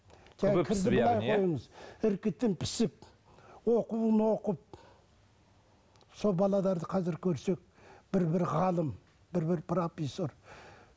іркітін пісіп оқуын оқып сол қазір көрсек бір бір ғалым бір бір